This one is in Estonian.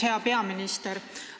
Hea peaminister!